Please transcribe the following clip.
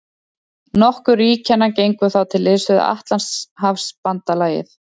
Nokkur ríkjanna gengu þá til liðs við Atlantshafsbandalagið.